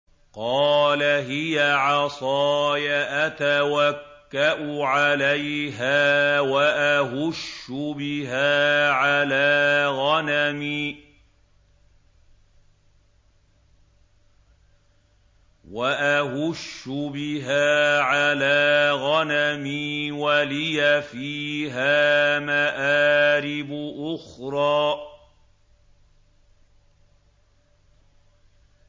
قَالَ هِيَ عَصَايَ أَتَوَكَّأُ عَلَيْهَا وَأَهُشُّ بِهَا عَلَىٰ غَنَمِي وَلِيَ فِيهَا مَآرِبُ أُخْرَىٰ